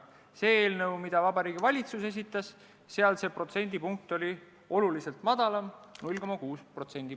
Selles eelnõus, mille Vabariigi Valitsus esitas, oli see protsendipunkt oluliselt väiksem – 0,6.